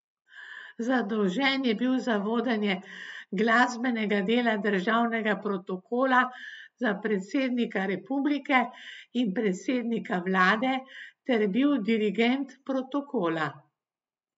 Zadolžen je bil za vodenje glasbenega dela državnega protokola za predsednika republike in predsednika vlade ter bil dirigent protokola.